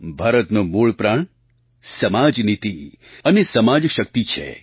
ભારતનો મૂળ પ્રાણ સમાજનીતિ અને સમાજશક્તિ છે